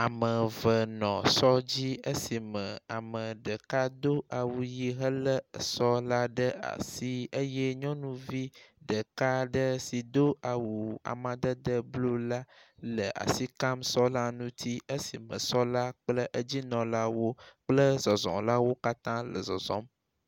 Ameve nɔ sɔ dzí esime ameɖeka dó awuyi héle esɔ la ɖe asi eyɛ nyɔnuvi ɖeka aɖe si dó awu amadede blu la le asikam sɔla ŋuti esime sɔla kple edzinɔlawo kple zɔzɔlawo katã le zɔzɔm